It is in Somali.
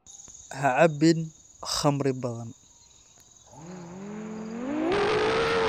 Ha cabbin khamri badan.